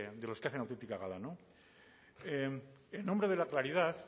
de los que hacen autentica gala en nombre de la claridad